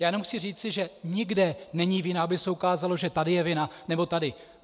Já jenom chci říci, že nikde není vina, aby se ukázalo, že tady je vina, nebo tady.